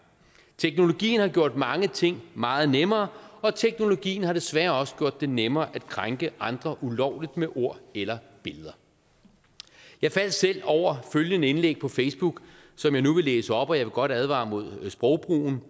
teknologien har gjort mange ting meget nemmere og teknologien har desværre også gjort det nemmere at krænke andre ulovligt med ord eller billeder jeg faldt selv over følgende indlæg på facebook som jeg nu vil læse op og jeg vil godt advare imod sprogbrugen